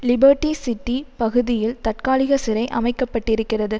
liberty City பகுதியில் தற்காலிக சிறை அமைக்கப்பட்டிருக்கிறது